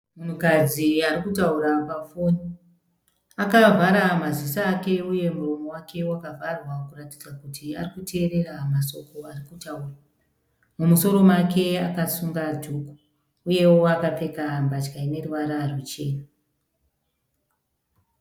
Mukadzi ari kutaura pa foni akavhara maziso ake uye muromo wake wakavharwa kuratidza kuti ari kuteerera masoko ari kutaurwa mumusoro make akasunga dhuku uyewo akapfeka mbatya ine ruvara ruchena.